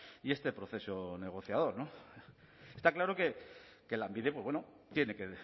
y este proceso negociador está claro que lanbide tiene que